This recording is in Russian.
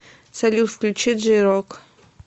салют включи джей рок